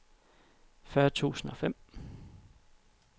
fyrre tusind og fem